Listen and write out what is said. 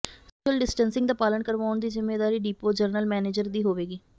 social distancing ਦਾ ਪਾਲਣ ਕਰਵਾਉਣ ਦੀ ਜ਼ਿੰਮੇਵਾਰੀ ਡਿਪੋ ਜਨਰਲ ਮੈਨੇਜਰ ਦੀ ਹੋਵੇਗੀ